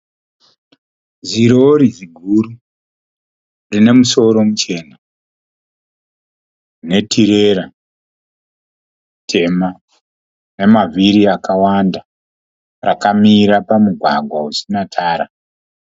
Zirori ziguru rine musoro muchena netirera tema nemavhiri akawanda. Rakamira pamugwagwa usina tara.